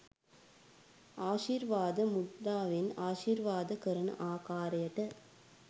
ආශිර්වාද මුද්‍රාවෙන් ආශිර්වාද කරන ආකාරයට